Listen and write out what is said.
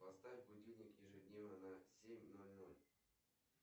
поставь будильник ежедневно на семь ноль ноль